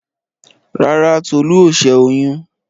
Rárá, Tolú ò ṣẹ́ oyún.